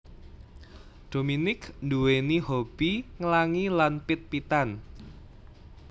Dominique nduwèni hobby nglangi lan pit pitan